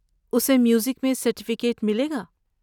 اسے میوزک میں سرٹیفکیٹ ملے گا۔